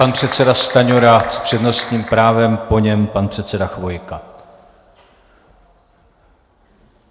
Pan předseda Stanjura s přednostním právem, po něm pan předseda Chvojka.